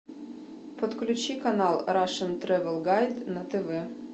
подключи канал рашн тревел гайд на тв